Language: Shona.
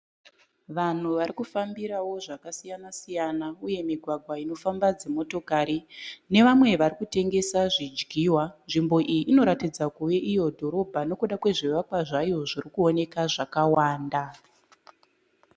Vanhu varikufambirawo zvakasiyana-siyana uye migwagwa inofamba dzimotokari nevamwe varikutengesa zvidyiwa. Nzvimbo iyi inoratidza kuve iyo dhorobha nokuda kwezvivakwa zvayo zvirikuoneka zvakawanda.